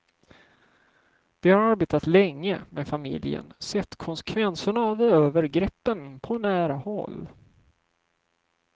De har arbetat länge med familjen, sett konsekvenserna av övergreppen på nära håll.